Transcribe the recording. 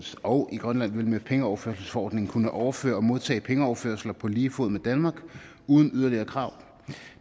og i grønland vil med pengeoverførselsforordningen kunne overføre og modtage pengeoverførsler på lige fod med danmark uden de yderligere krav